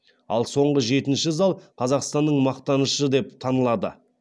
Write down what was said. ал соңғы жетінші зал қазақстанның мақтанышы деп танылады